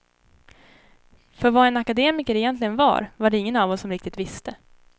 För vad en akademiker egentligen var, var det ingen av oss som riktigt visste.